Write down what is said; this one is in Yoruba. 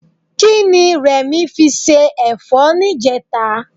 Kí ni Rẹ̀mí fi se ẹ̀fọ́ níjẹta?